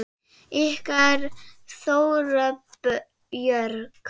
Ykkar Þóra Björk.